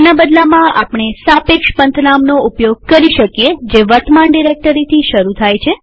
તેના બદલામાં આપણે સાપેક્ષરીલેટીવ પંથનામ ઉપયોગ કરી શકીએ જે વર્તમાન ડિરેક્ટરીથી શરુ થાય છે